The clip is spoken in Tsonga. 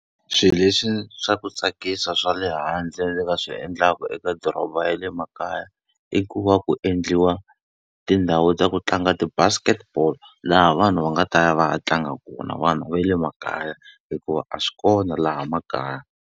Swilo leswi swa ku tsakisa swa le handle ndzi nga swi endlaka eka doroba ya le makaya, i ku va ku endliwa tindhawu ta ku tlanga ti-basket ball. Laha vanhu va nga ta ya va ya tlanga kona vanhu va le makaya hikuva a swi kona laha makaya.